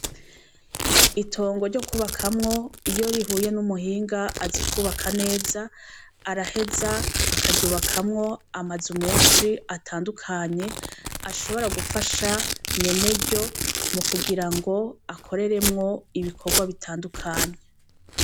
Itongo ryo kwubakamwo, iyo rihuye n' umuhinga azi kwubaka neza, araheza akaryubakamwo amazu menshi atandukanye, ashobora gufasha nyeneryo mu kugirango akoreremwo ibikorwa bitandukanye .